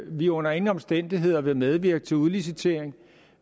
vi under ingen omstændigheder vil medvirke til udlicitering